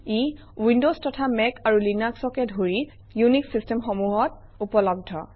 ই Windows তথা Mac আৰু Linux অকে ধৰি উনিশ চিষ্টেমসমূহত উপলব্ধ